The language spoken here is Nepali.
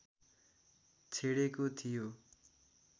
छेडेको थियो